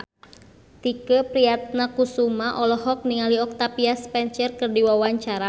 Tike Priatnakusuma olohok ningali Octavia Spencer keur diwawancara